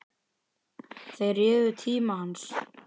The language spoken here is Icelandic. Þeir réðu tíma hans.